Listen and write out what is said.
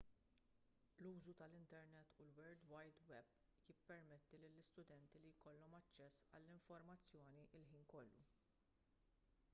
l-użu tal-internet u l-world wide web jippermetti lill-istudenti li jkollhom aċċess għall-informazzjoni l-ħin kollu